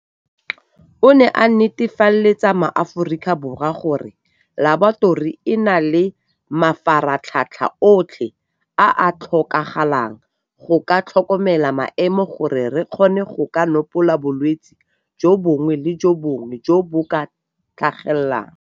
O ne a netefaletsa MaAforika Borwa gore Laboratori e na le mafaratlhatlha otlhe a a tlhokagalang go ka tlhokomela maemo gore re kgone go ka nopola bolwetse jo bongwe le jo bongwe jo bo tlhagelelang.